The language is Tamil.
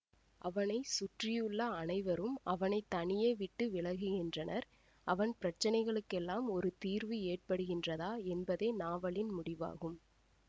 அவனை சுற்றியுள்ள அனைவரும் அவனை தனியே விட்டு விலகுகின்றனர்அவன் பிரச்சனைகளுக்கெல்லாம் ஒரு தீர்வு ஏற்படுகின்றதா என்பதே நாவலின் முடிவாகும்